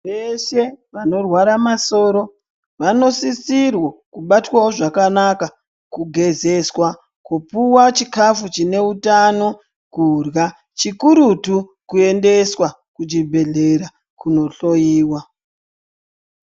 Vese vanorwara masoro Vanosisirwa kubatwawo zvakanaka Kugezeswa kupuwa chikafu chine hutano kurya chikurutu kuendeswa kuchibhedhlera kundohloiwa.